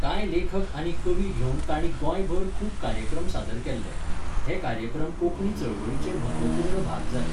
कांय लेखक आनी कवी घेवन ताणी गोंयभर खूब कार्यक्रम सादर केल्ले. हे कार्यक्रम कोंकणी चळवळीचे म्हत्वपूर्ण भाग जाले